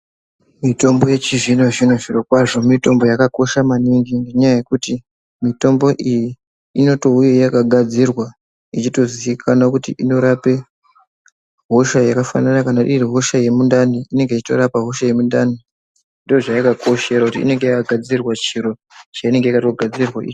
Mitombo yechizvino zvino zvirokwazvo mitombo yakakosha maningi ngenyaya yokuti mitombo iyi inotonge yakagadzirwa ichitoziikana kuti inorape hosha yakafanana kana iri hosha yemundani inenge yechitorapa hosha yemundani ndozvaayakakoshera kuti inenge yakagadzirirwe chiro chainenge yakatogadzirirwa.